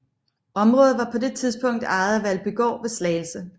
Området var på det tidspunkt ejet af Valbygård ved Slagelse